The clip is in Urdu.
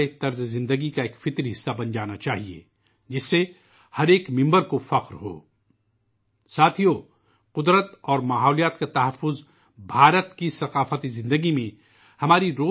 دوستو، فطرت اور ماحولیات کی حفاظت بھارت کی ثقافتی زندگی میں پنہاں ہے